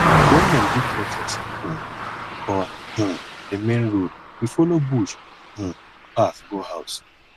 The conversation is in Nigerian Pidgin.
wen dem do protest um for um di main road we folo bush um path go house